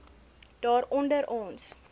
daar onder ons